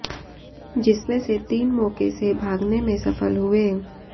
जिसमें से तीन मौके से भागने में सफल हुए